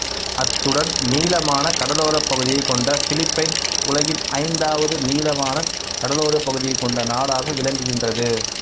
அத்துடன் நீளமான கடலோரப் பகுதியைக் கொண்ட பிலிப்பைன்ஸ் உலகின் ஐந்தாவது நீளமான கடலோரப் பகுதியைக் கொண்ட நாடாக விளங்குகின்றது